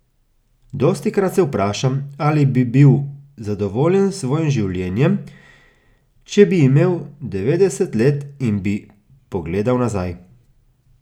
Dostikrat se vprašam, ali bi bil zadovoljen s svojim življenjem, če bi imel devetdeset let in bi pogledal nazaj.